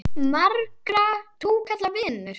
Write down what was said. Marga túkalla vinur?